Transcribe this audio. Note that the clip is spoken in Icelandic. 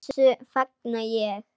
Þessu fagna ég.